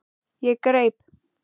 Ég greip